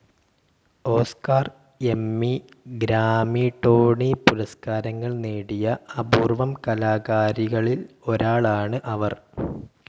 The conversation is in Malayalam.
Oscar, Emmy, Grammy. ടോണി പുരസ്കാരങ്ങൾ നേടിയ അപൂർവം കലാകാരികളിൽ ഒരാളാണ് അവർ.